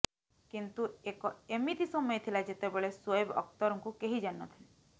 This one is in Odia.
କିନ୍ତୁ ଏକ ଏମିତି ସମୟ ଥିଲା ଯେତେବେଳେ ଶୋଏବ ଅଖତରଙ୍କୁ କେହି ଜାଣି ନ ଥିଲେ